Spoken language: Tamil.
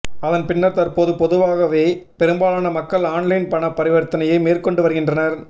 அதன் பின்னர் தற்போது பொதுவாகவே பெரும்பாலான மக்கள் ஆன்லைன் பண பரிவர்த்தனையை மேற்கொண்டு வருகின்றனர்